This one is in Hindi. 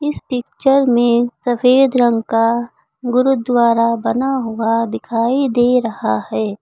इस पिक्चर में सफेद रंग का गुरुद्वारा बना हुआ दिखाई दे रहा है।